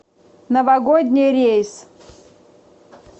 новогодний рейс